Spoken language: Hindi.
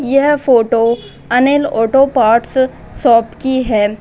यह photo Anil auto parts shop की है।